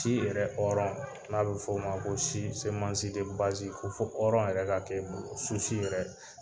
Di yɛrɛ hɔrɔn n'a bɛ f'ɔ ma ko si semansi bazi ko fɔ hɔɔrɔn yɛrɛ ka kɛ o yɛrɛ